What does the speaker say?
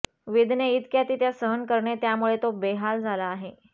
वेदना इतक्या की त्या सहन करणे त्यामुळे तो बेहाल झाला आहे